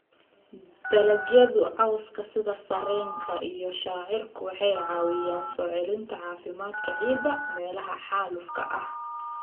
Dalagyada cawska sida sarreenka iyo shaciirku waxay caawiyaan soo celinta caafimaadka ciidda meelaha xaalufka ah.